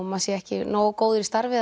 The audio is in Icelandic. maður sé ekki nógu góður í starfi